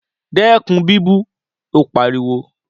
Dẹ́kun bíbú u! Ó pariwo.